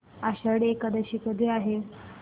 आषाढी एकादशी कधी आहे